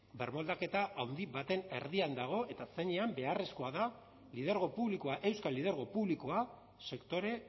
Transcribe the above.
birmoldaketa handi baten erdian dago eta zeinean beharrezkoa da lidergo publikoa euskal lidergo publikoa sektore